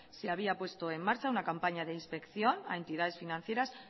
se había puesto en marcha una campaña de inspección a entidades financieras